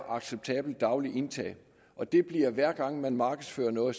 acceptabelt daglig indtag og dette bliver analyseret hver gang man markedsfører noget